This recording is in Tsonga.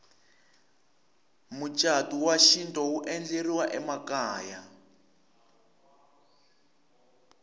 mucatu wa xintu wu endleriwa emakaya